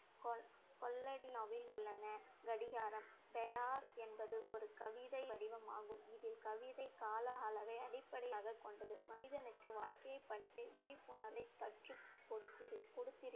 கொல்ல~ கொல்லடியாவே உள்ளன. கடிகாரம் என்பது ஒரு கவித வடிவமாகும். இதில் கவிதை கால அளவை அடிப்படையாக கொண்டது. மனிதனுக்கு வாழ்க்கையைப் பற்றிய விழிப்புணர்வைக் கற்றுக் கொடுக்திரு~ கொடுத்திருக்~